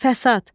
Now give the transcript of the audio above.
Fəsad.